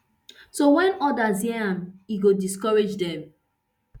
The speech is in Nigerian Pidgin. so wen odas hear am e go discourage dem